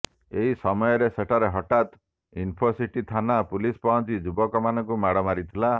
ଏହି ସମୟରେ ସେଠାରେ ହଠାତ୍ ଇନ୍ଫୋସିଟି ଥାନା ପୁଲିସ ପହଞ୍ଚି ଯୁବକମାନଙ୍କୁ ମାଡ଼ ମାରିଥିଲା